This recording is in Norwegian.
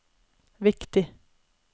viktig